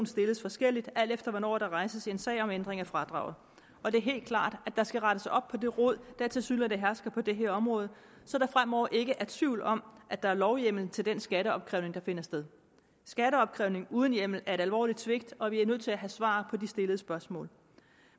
stilles forskelligt alt efter hvornår der rejses en sag om ændring af fradraget det er helt klart at der skal rettes op på det rod der tilsyneladende hersker på det her område så der fremover ikke er tvivl om at der er lovhjemmel til den skatteopkrævning der finder sted skatteopkrævning uden hjemmel er et alvorligt svigt og vi er nødt til at have svar på de stillede spørgsmål